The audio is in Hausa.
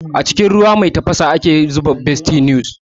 A cikin ruwa mai tafasa ake zuba bestie noodles